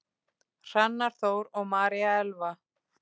Hrannar Þór og María Elfa.